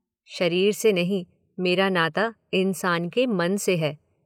शरीर से नहीं, मेरा नाता इंसान के मन से है।